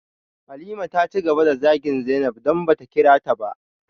Halima taci gaba da zagin zainab, don bata kirata ba.